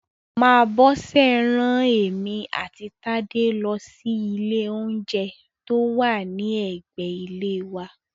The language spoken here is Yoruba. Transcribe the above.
Màmá Bọ́sẹ̀ rán èmi àti Tádé lọ sí ilé oúnjẹ tó wà ní ẹ̀gbẹ ilé wa